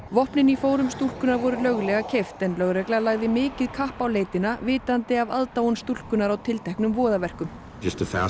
vopnin í fórum stúlkunnar voru löglega keypt en lögregla lagði mikið kapp á leitina vitandi af aðdáun stúlkunnar á tilteknum voðaverkum